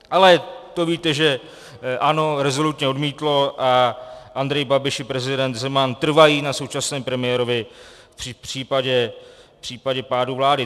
Ale to, víte, že ANO rezolutně odmítlo a Andrej Babiš i prezident Zeman trvají na současném premiérovi v případě pádu vlády.